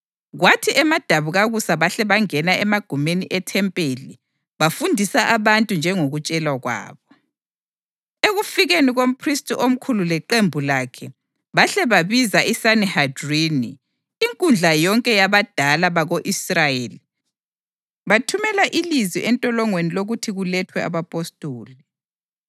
Kwathi emadabukakusa bahle bangena emagumeni ethempeli, bafundisa abantu njengokutshelwa kwabo. Ekufikeni komphristi omkhulu leqembu lakhe bahle babiza iSanihedrini; inkundla yonke yabadala bako-Israyeli bathumela ilizwi entolongweni lokuthi kulethwe abapostoli,